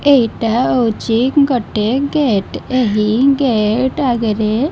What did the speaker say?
ଏଇଟା ହଉଛି ଗୋଟିଏ ଗେଟ୍ ଏହି ଗେଟ୍ ଆଗେରେ --